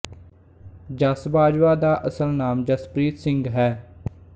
ਜੱਸ ਬਾਜਵਾ ਦਾ ਅਸਲ ਨਾਮ ਜਸਪ੍ਰੀਤ ਸਿੰਘ ਹੈ